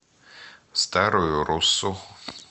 старую руссу